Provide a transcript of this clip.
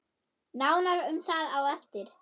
Nánar um það á eftir.